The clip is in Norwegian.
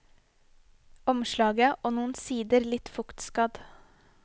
Omslaget og noen sider litt fuktskadd.